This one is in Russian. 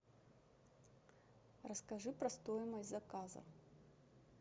расскажи про стоимость заказа